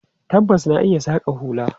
Tabbas, na iya saƙa hula.